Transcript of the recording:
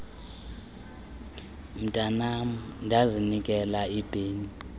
mntanam ndazinikela ipeni